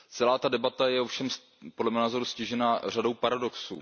Celá ta debata je ovšem, podle mého názoru, ztížena řadou paradoxů.